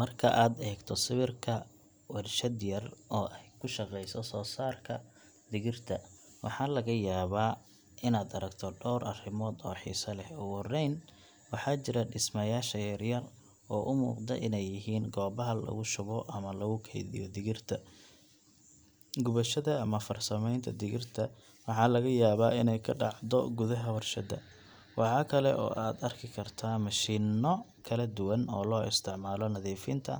Marka aad eegto sawirka warshad yar oo ay ku shaqeyso soosaarka digirta, waxaa laga yaabaa inaad aragto dhowr arrimood oo xiiso leh. Ugu horeyn, waxaa jira dhismayaasha yar yar oo u muuqda inay yihiin goobaha lagu shubo ama lagu kaydiyo digirta. Gubashada ama farsamaynta digirta waxaa laga yaabaa inay ka dhacdo gudaha warshadda. Waxaa kale oo aad arki kartaa mashiinno kala duwan oo loo isticmaalo nadiifinta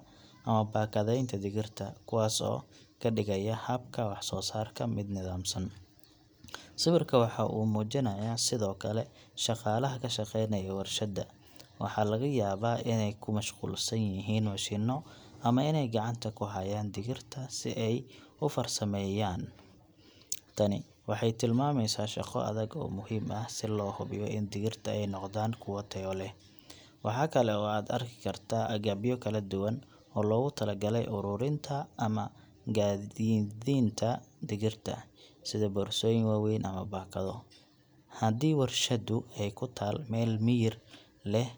ama baakadaynta digirta, kuwaas oo ka dhigaya habka waxsoosaarka mid nidaamsan. Sawirku waxa uu muujinayaa sidoo kale shaqaalaha ka shaqeynaya warshadda. Waxaa laga yaabaa inay ku mashquulsan yihiin mishiinno ama inay gacanta ku hayaan digirta si ay u farsameeyaan. Tani waxay tilmaamaysaa shaqo adag oo muhiim ah si loo hubiyo in digirta ay noqdaan kuwo tayo leh. Waxa kale oo aad arki kartaa agabyo kala duwan oo loogu talagalay uruurinta ama gaadiidinta digirta, sida boorsooyin waaweyn ama baakado. Haddii warshaddu ay ku taal meel miyir leh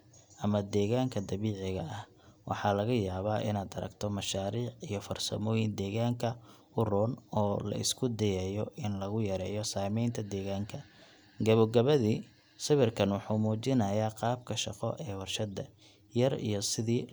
ama deegaanka dabiiciga ah, waxaa laga yaabaa inaad aragto mashaariic iyo farsamooyin deegaanka u roon oo la isku dayayo in lagu yareeyo saameynta deegaanka. Gebogebadii, sawirkan wuxuu muujinayaa qaabka shaqo ee warshadda yar iyo sidii looga shaqeyn lahaa si loo soo saaro digir tayo leh, iyadoo la ilaalinayo deegaanka iyo shaqaalaha.